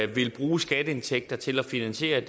vil bruge skatteindtægter til at finansiere